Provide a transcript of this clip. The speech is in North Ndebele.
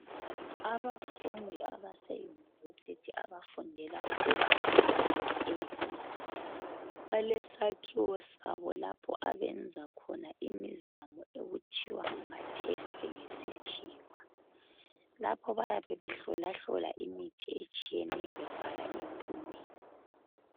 Abafundi abase yunivesithi abafundela ukuba ngodokotela balesakhiwo sabo lapho abenza khona imizamo okuthiwa ngama test ngesikhiwa. Lapho bayabe behlolahlola imithi etshiyeneyo bebhala imiklomelo.